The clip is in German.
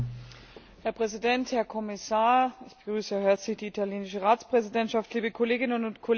Herr Präsident, Herr Kommissar, ich begrüße herzlich die italienische Ratspräsidentschaft, liebe Kolleginnen und Kollegen!